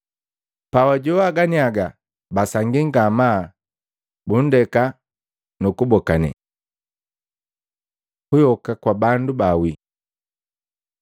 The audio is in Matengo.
Pabajowana ganiaga, basangii ngamaa, bundeka nukubokane. Kuyoka kwa bandu bawii Maluko 12:18-27; Luka 20:27-40